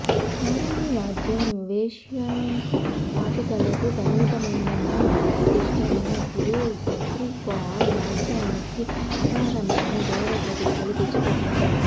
సారంగీ వాద్యం వేశ్యా వాటికలకు పరిమితమైందన్న అప్రదిష్ట ఉన్నప్పుడు సబ్రీ ఖాన్ వాద్యానికి అపారమైన గౌరవ ప్రతిష్ఠలు తెచ్చి పెట్టారు